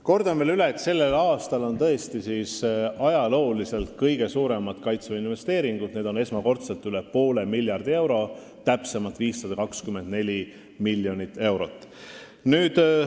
Kordan veel üle, et sellel aastal on tõesti ajalooliselt kõige suurem Kaitseväe eelarve, see on esmakordselt üle poole miljardi euro, täpsemalt 524 miljonit eurot.